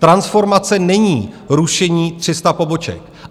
Transformace není rušení 300 poboček.